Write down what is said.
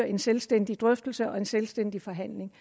en selvstændig drøftelse og en selvstændig forhandling